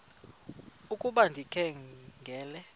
ukuba ndikha ngela